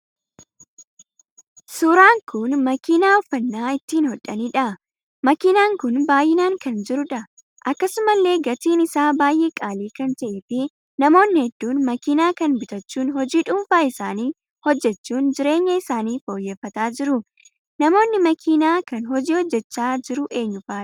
Suuraan kun makinaa uffannaa ittiin hodhaniidha. makinaan kun baay'inaan kan jiruudha. akkasumallee gatiin isaa baay'ee qaalii kan taheef namoonni hedduun makinaa kan bitachuun hojii dhuunfaa isaan hojjechuun jireenya isaanii fooyyeffataa jiru. Namoonni makinaa kan hojii hojjechaa jira eenyufaadha?